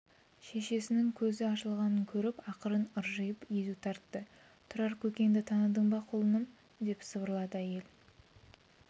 шешесінің көзі ашылғанын көріп ақырын ыржиып езу тартты тұрар көкеңді таныдың ба құлыным деп сыбырлады әйел